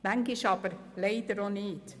Manchmal leider auch nicht.